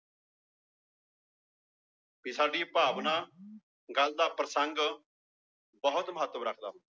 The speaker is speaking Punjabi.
ਕਿ ਸਾਡੀ ਭਾਵਨਾ ਗੱਲ ਦਾ ਪ੍ਰਸੰਗ ਬਹੁਤ ਮਹੱਤਵ ਰੱਖਦਾ